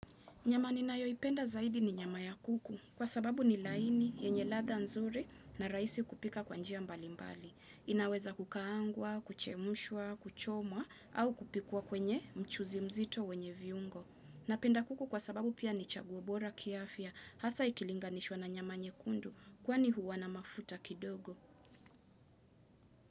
Nyama ninayoipenda zaidi ni nyama ya kuku kwa sababu ni laini, yenye ladha nzuri na rahisi kupika kwa njia mbalimbali. Inaweza kukaangwa, kuchemshwa, kuchomwa au kupikwa kwenye mchuzi mzito wenye viungo. Napenda kuku kwa sababu pia ni chaguo bora kiafya hasa ikilinganishwa na nyama nyekundu kwani huwa na mafuta kidogo.